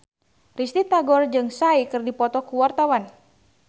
Risty Tagor jeung Psy keur dipoto ku wartawan